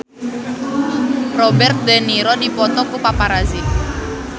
Robert de Niro dipoto ku paparazi